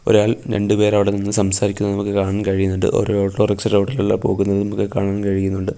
ഒരാൾ രണ്ട് പേർ അവടെ നിന്ന് സംസാരിക്കുന്നത് നമുക്ക് കാണാൻ കഴിയുന്നുണ്ട് ഒര് ഓട്ടോറിക്ഷ റോഡ് പോകുന്നത് നമുക്ക് കാണാൻ കഴിയുന്നുണ്ട്.